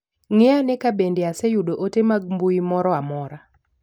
Ng'i ane ka bende aseyudo ote mag mbui moro amora.